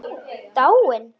Dáin?